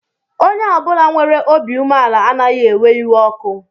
Onye ọ bụla nwere obi umeala anaghị ewe iwe ọkụ